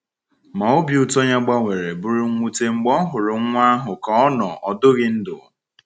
Ma obi ụtọ ya gbanwere bụrụ mwute mgbe o hụrụ nwa ahụ ka ọ nọ ọdụghị ndụ.